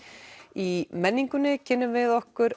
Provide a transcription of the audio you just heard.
í menningunni kynnum við okkur